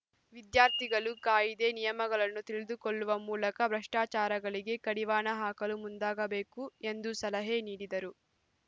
ವಿದ್ಯಾರ್ಥಿಗಳು ಕಾಯಿದೆ ನಿಯಮಗಳನ್ನು ತಿಳಿದುಕೊಳ್ಳುವ ಮೂಲಕ ಭ್ರಷ್ಟಾಚಾರಗಳಿಗೆ ಕಡಿವಾಣ ಹಾಕಲು ಮುಂದಾಗಬೇಕು ಎಂದು ಸಲಹೆ ನೀಡಿದರು